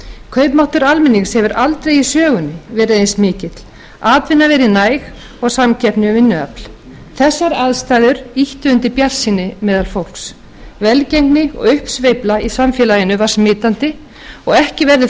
kaupmáttur almennings hefur aldrei í sögunni verið eins mikill atvinna verið næg og samkeppni um vinnuafl þessar aðstæður ýttu undir bjartsýni meðal fólks velgengni og uppsveifla í samfélaginu var smitandi og ekki verður